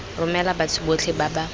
romela batho botlhe ba ba